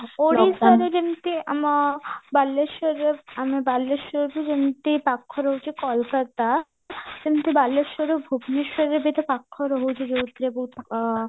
ଓଡିଶାରେ ଯେମତି ଆମ ବାଲେଶ୍ଵର ଆମେ ବାଲେଶ୍ଵରରୁ ଯେମତି ପାଖ ରହୁଚି କୋଲକାତା ସେମଟି ବାଲେଶ୍ଵରରୁ ଭୁବନେଶ୍ଵର ବି ତ ପାଖ ରହୁଚି ଯୋଉଥିରେ ବହୁତ ଅ